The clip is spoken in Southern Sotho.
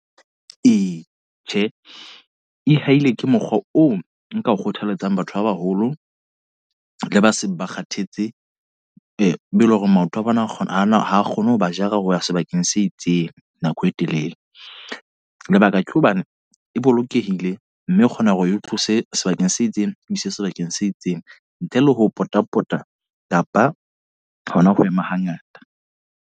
Ee, tjhe e-hailing ke mokgwa oo nka ho kgothaletsang batho ba baholo, le ba seng ba kgathetse. Be eleng hore maoto a bona a kgona ho na ha kgone ho ba jara hoba sebakeng se itseng eya nako e telele. Lebaka ke hobane e bolokehile, mme o kgona hore o tlose sebakeng se itseng o ise sebakeng se itseng ntle le ho pota pota kapa hona ho ema ha ngata.